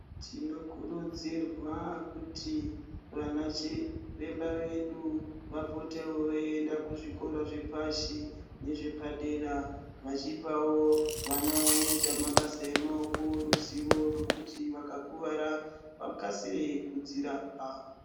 Tinokurudzirwa kuti vana chiremba vedu, vapotewo veienda kuzvikora zvepashi nezvepadera, vachipawo vana vanoita mabasa emaoko, ruzivo rwekuti vakakuvara vakasire kudzirapa.